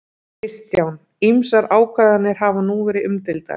Kristján: Ýmsar ákvarðanir hafa nú verið umdeildar?